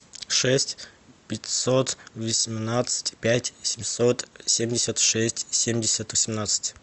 шесть пятьсот восемнадцать пять семьсот семьдесят шесть семьдесят восемнадцать